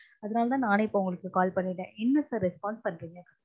அதுனால தான் நானே இப்ப உங்களுக்கு call பண்ணிட்டேன் என்ன sir response பண்றீங்க